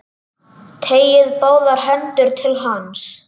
Teygir báðar hendur til hans.